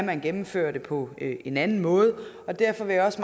kan gennemføre det på en anden måde og derfor vil jeg også